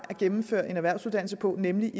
at gennemføre en erhvervsuddannelse på nemlig